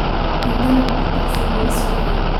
I dalbo tagsi berri subax